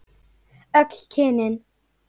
Öll kynin?